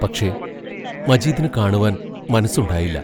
പക്ഷേ, മജീദിനു കാണുവാൻ മനസ്സുണ്ടായില്ല.